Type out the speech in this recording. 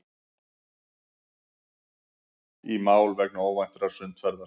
Í mál vegna óvæntrar sundferðar